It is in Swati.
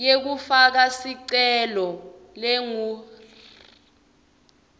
yekufaka sicelo lengur